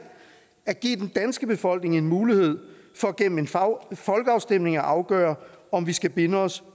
at give den danske befolkning en mulighed for gennem en folkeafstemning at afgøre om vi skal binde os